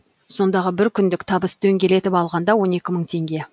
сондағы бір күндік табыс дөңгелетіп алғанда он екі мың теңге